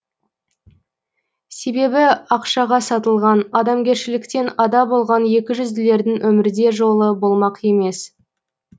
себебі ақшаға сатылған адамгершіліктен ада болған екіжүзділердің өмірде жолы болмақ емес